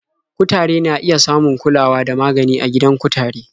Kutare na iya samun kulawa da magani a gidan kutare.